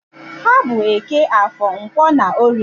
Ha bụ Eke, Afọr, Nkwọ na Orie.